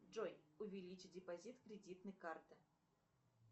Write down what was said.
джой увеличь депозит кредитной карты